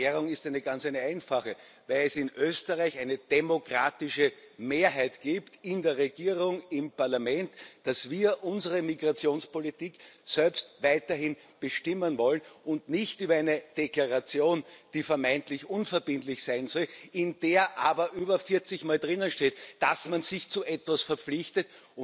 Die Erklärung ist ganz einfach weil es in Österreich eine demokratische Mehrheit gibt in der Regierung, im Parlament weil wir unsere Migrationspolitik selbst weiterhin bestimmen wollen und nicht über eine Deklaration, die vermeintlich unverbindlich sein soll, in der aber über 40 Mal drinsteht, dass man sich zu etwas verpflichtet.